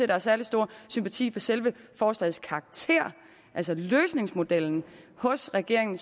der er særlig stor sympati for selve forslagets karakter altså løsningsmodellen hos regeringen